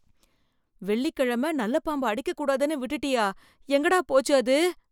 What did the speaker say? வெள்ளிக் கிழம நல்ல பாம்ப அடிக்கக் கூடாதுன்னு விட்டுட்டியா, எங்கடா போச்சு அது?